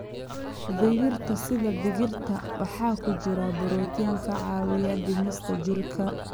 Digirta sida digirta waxaa ku jira borotiin ka caawiya dhismaha jirka.